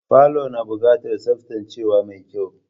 Falo na buƙatar tsaftacewa mai kyau.